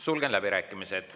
Sulgen läbirääkimised.